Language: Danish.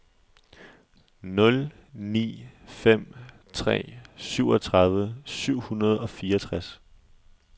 nul ni fem tre syvogtredive syv hundrede og fireogtres